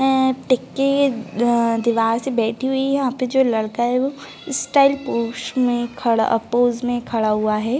आ टीकी आ दिवार से बैठी हुई है। यहाँ पे जो लड़का है वो स्टाइल पोज मे खड़ा आ पोज़ मे खड़ा हुआ है।